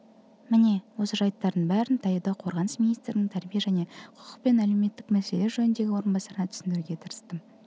міне осы жәйттердің бәрін таяуда қорғаныс министрінің тәрбие және құқық пен әлеуметтік мәселелер жөніндегі орынбасарына түсіндіруге тырыстым